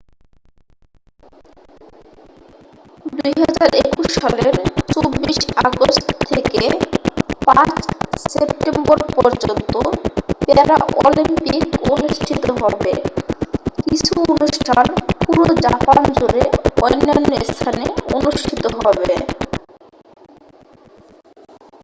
2021 সালের 24 আগাস্ট থেকে 5 সেপ্টেম্বর পর্যন্ত প্যারাঅলিম্পিক অনুষ্ঠিত হবে কিছু অনুষ্ঠান পুরো জাপান জুরে অন্যান্য স্থানে অনুষ্ঠিত হবে